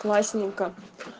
классненько